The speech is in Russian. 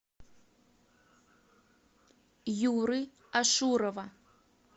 юры ашурова